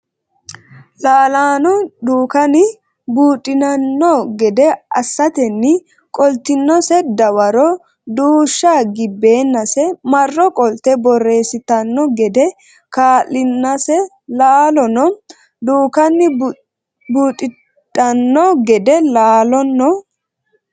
Laalono Dukkani buuxidhanno gede assatenni qoltinose dawaro duushsha gibbeennase marro qolte borreessitanno gede kaa linsa Laalono Dukkani buuxidhanno gede Laalono.